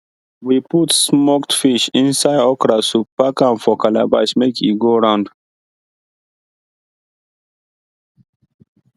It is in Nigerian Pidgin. we put smoked fish inside okra soup pack am for calabash make e go round